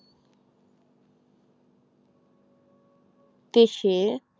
তেসে